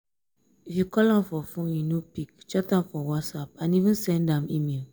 if you call am for phone e no pick chat am for whatsapp and even send am email